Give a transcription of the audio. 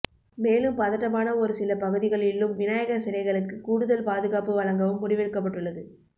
மேலும் பதட்டமான ஒரு சில பகுதிகளிலும் விநாயகர் சிலைகளுக்கு கூடுதல் பாதுகாப்பு வழங்கவும் முடிவெடுக்கப்பட்டுள்ளது